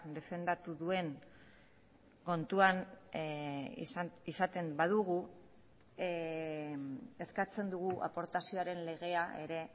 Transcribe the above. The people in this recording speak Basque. defendatu duen kontuan izaten badugu eskatzen dugu aportazioaren legea ere